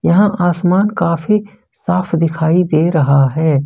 यहां आसमान काफी साफ दिखाई दे रहा है।